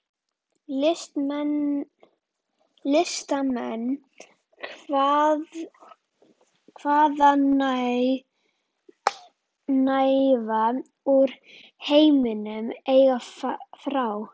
Listamenn hvaðanæva úr heiminum- einnig frá